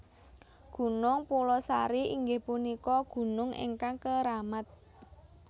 Gunung Pulosari inggih punika gunung ingkang keramat